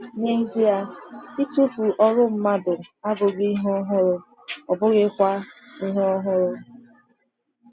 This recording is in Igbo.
N’ezie, ịtụfu ọrụ mmadụ abụghị ihe ọhụrụ, ọ bụghịkwa ihe ọhụrụ.